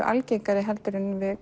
algengari en við